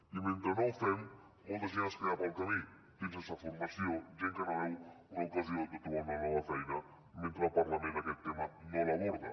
i mentre no ho fem molta gent es queda pel camí gent sense formació gent que no veu una ocasió de trobar una nova feina mentre el parlament aquest tema no l’aborda